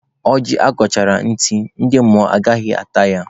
Ọjị agọchiri ntị, ndị mmụọ anaghị ata ya.